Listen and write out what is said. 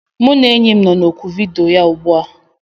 Mụ na enyi m nọ na oku vidiyo ugbu a